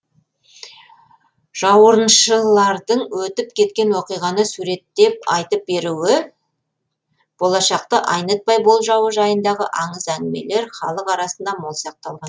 жауырыншылардың өтіп кеткен оқиғаны суреттеп айтып беруі болашақты айнытпай болжауы жайындағы аңыз әңгімелер халық арасында мол сақталған